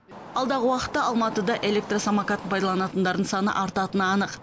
алдағы уақытта алматыда электросамокатын пайдаланатындардың саны артатыны анық